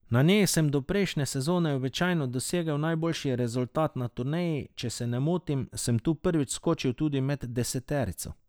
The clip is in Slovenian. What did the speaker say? Na njej sem do prejšnje sezone običajno dosegel najboljši rezultat na turneji, če se ne motim, sem tu prvič skočil tudi med deseterico.